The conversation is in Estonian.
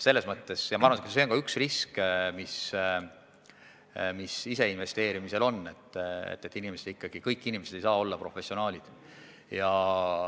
Ma arvan, et see on ka üks risk, mis ise investeerimisel on – kõik inimesed ei saa olla professionaalid.